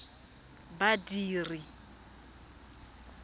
badiri